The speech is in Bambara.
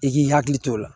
I k'i hakili to o la